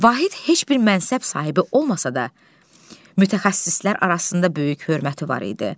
Vahid heç bir mənsəb sahibi olmasa da, mütəxəssislər arasında böyük hörməti var idi.